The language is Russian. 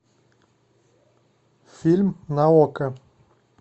фильм на окко